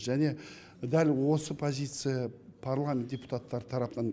және дәл осы позиция парламент депутаттар тарапынан